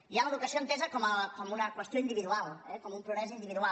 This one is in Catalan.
hi ha l’educació entesa com una qüestió individual eh com un progrés individual